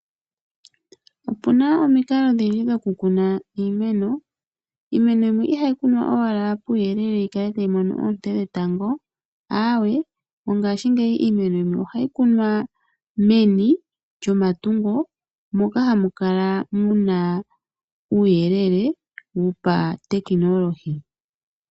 Opu na omikalo odhindji dhokukuna iimena , yimwe ihayi kunwa puuyelele yikale tayi mono oonte dhetango. Mongaashingeyi iimeno ohayi kunwa meni lyomatungo moka hamu kala uuyelele wopa tekinolohi.